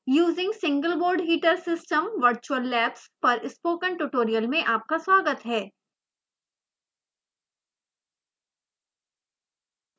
using single board heater system virtual labs on windows os पर spoken tutorial में आपका स्वागत है